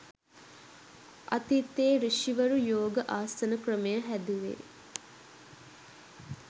අතීතයේ සෘෂිවරු යෝගආසන ක්‍රමය හැදුවේ